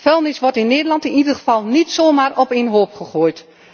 Vuilnis wordt in Nederland in ieder geval niet zomaar op één hoop gegooid.